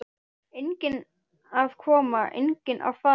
Enginn að koma, enginn að fara.